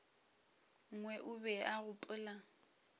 nngwe o be a gopola